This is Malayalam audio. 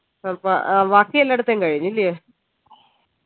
അപ്പൊ വാക്കി എല്ലേഡ്തേം കഴിഞ് ല്യേ